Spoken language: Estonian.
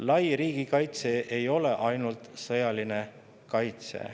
Lai riigikaitse ei ole ainult sõjaline kaitse.